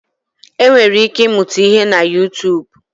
E nwere ike ị mụta ihe na Utuubu.